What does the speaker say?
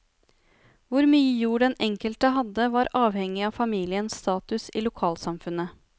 Hvor mye jord den enkelte hadde var avhengig av familiens status i lokalsamfunnet.